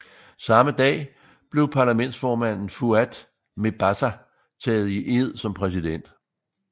Samme dag blev parlamentsformanden Fouad Mebazaa taget i ed som præsident